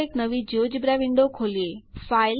ચાલો એક નવી જિયોજેબ્રા વિન્ડો ખોલીએ